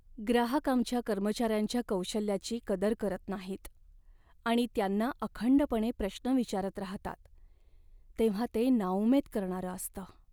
ग्राहक आमच्या कर्मचाऱ्यांच्या कौशल्याची कदर करत नाहीत आणि त्यांना अखंडपणे प्रश्न विचारत राहतात तेव्हा ते नाउमेद करणारं असतं.